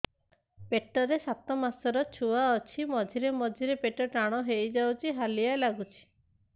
ପେଟ ରେ ସାତମାସର ଛୁଆ ଅଛି ମଝିରେ ମଝିରେ ପେଟ ଟାଣ ହେଇଯାଉଚି ହାଲିଆ ଲାଗୁଚି